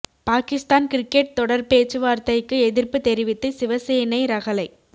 Pakistan cricket தொடர் பேச்சு வார்த்தைக்கு எதிர்ப்பு தெரிவித்து சிவசேனை ரகளை